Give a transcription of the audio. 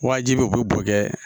Wajibi u be bɔn kɛ